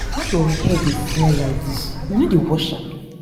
why your hair dey smell like dis? you no dey wash am?